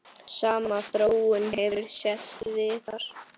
Sama þróun hefur sést víðar.